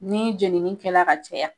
Ni jeniinkɛla ka caya